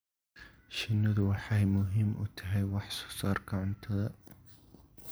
Shinnidu waxay muhiim u tahay wax soo saarka cuntada.